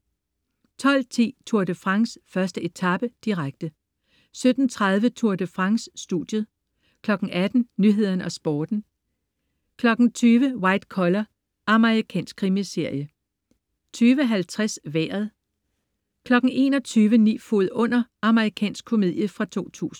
12.10 Tour de France: 1. etape, direkte 17.30 Tour de France: Studiet 18.00 Nyhederne og Sporten 20.00 White Collar. Amerikansk krimiserie 20.50 Vejret 21.00 Ni fod under. Amerikansk komedie fra 2000